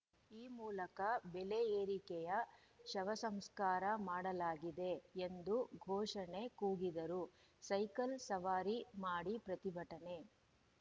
ಈ ಮೂಲಕ ಬೆಲೆ ಏರಿಕೆಯ ಶವಸಂಸ್ಕಾರ ಮಾಡಲಾಗಿದೆ ಎಂದು ಘೋಷಣೆ ಕೂಗಿದರು ಸೈಕಲ್‌ ಸವಾರಿ ಮಾಡಿ ಪ್ರತಿಭಟನೆ